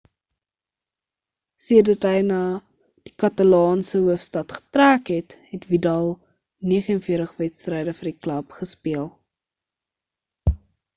sedert hy na die katalaanse hoofstad getrek het het vidal 49 wedstryde vir die klub gespeel